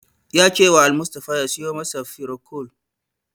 Ya cewa Almustapha ya siyo masa firocol.